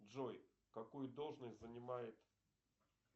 джой какую должность занимает